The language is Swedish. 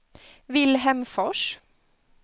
Vilhelm Fors